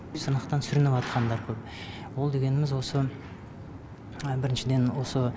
сынақтан сүрініватқандар көп ол дегеніміз осы біріншіден осы